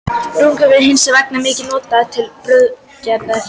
Rúgur eru hins vegar mikið notaðar til brauðgerðar.